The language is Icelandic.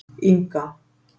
Inga